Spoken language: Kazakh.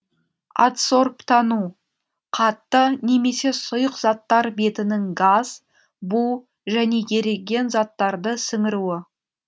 адсорбтану қатты немесе сұйық заттар бетінің газ бу және еріген заттарды сіңіруі